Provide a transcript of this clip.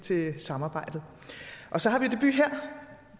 til samarbejdet og så har vi debut her